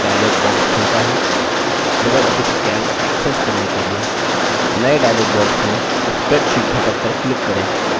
Libre Office calc access करने के लिए नये dialog box में spreadsheet घटक पर click करें